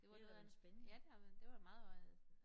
Det var noget af en ja det har været det var meget øh